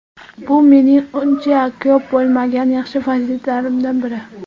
Bu mening uncha ko‘p bo‘lmagan yaxshi fazilatlarimdan biri.